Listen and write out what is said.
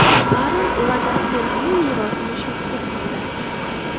Karl Lagerfeldning merosi mushugiga qoldi.